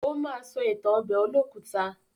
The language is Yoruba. Ó ma sọ ìtàn ọbẹ̀ olókùta.